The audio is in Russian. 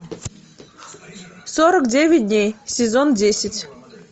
сорок девять дней сезон десять